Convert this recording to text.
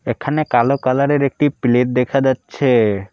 এখানে কালো কালারের একটি প্লেট দেখা যাচ্ছে।